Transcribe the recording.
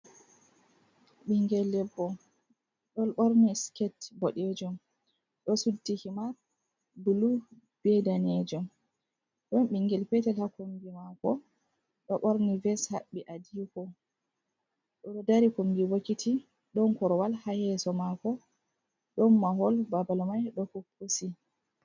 Bingel debbo ɗon borni siket boɗejom, ɗo suddi himar bulu be danejom, don ɓingel petel ha kombi mako ɗo ɓorni ves haɓɓi adiko, o ɗo dari kombi bokiti, ɗon korwal ha yeso mako, ɗon mahol babal mai ɗo puppusi.